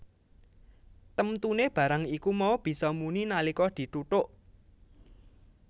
Temtune barang iku mau bisa muni nalika dithutuk